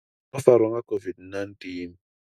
songo farwa nga songo farwa nga COVID-19?